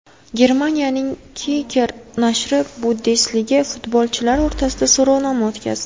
Germaniyaning Kicker nashri Bundesliga futbolchilari o‘rtasida so‘rovnoma o‘tkazdi .